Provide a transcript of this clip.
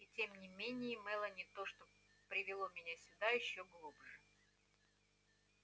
и тем не менее мелани то что привело меня сюда ещё глубже